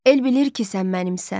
El bilir ki, sən mənimsən.